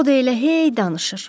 O da elə hey danışır.